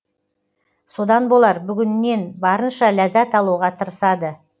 содан болар бүгінінен барынша ләззат алуға тырысады